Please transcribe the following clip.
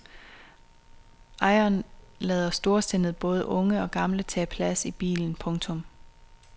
Ejeren lader storsindet både unge og gamle tage plads i bilen. punktum